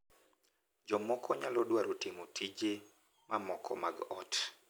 Jomoko nyalo dwaro timo tije mamoko mag ot .